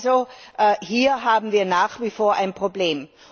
Also hier haben wir nach wie vor ein Problem.